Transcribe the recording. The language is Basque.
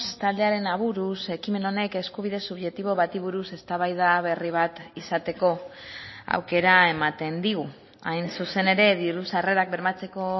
taldearen aburuz ekimen honek eskubide subjektibo bati buruz eztabaida berri bat izateko aukera ematen digu hain zuzen ere diru sarrerak bermatzeko